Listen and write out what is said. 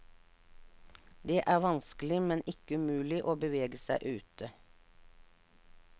Det er vanskelig, men ikke umulig, å bevege seg ute.